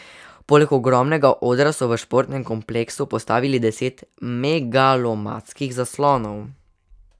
Poleg ogromnega odra so v športnem kompleksu postavili deset megalomanskih zaslonov.